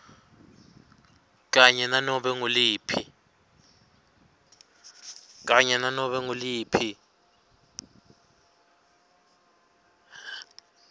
kanye nanobe nguliphi